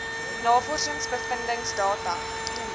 navorsings bevindings data